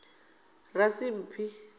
rasimphi